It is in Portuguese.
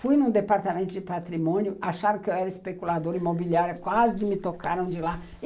Fui num departamento de patrimônio, acharam que eu era especuladora imobiliária, quase me tocaram de lá.